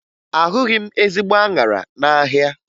Ahụghị m ezigbo aṅara n'ahịa